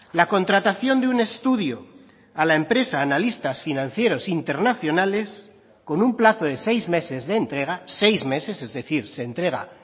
la contratación de un estudio a la empresa analistas financieros internacionales con un plazo de seis meses de entrega seis meses es decir se entrega